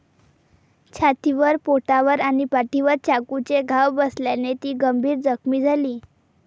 छातीवर, पोटावर आणि पाठीवर चाकूचे घाव बसल्याने ती गंभीर जखमी झाली.